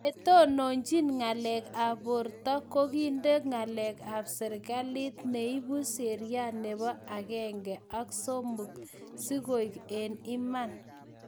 chetonochin ngalek ab borto ko kinde ngalek ab serekalit nebu sheria nebo akenge ak somok sikoaiak eng iman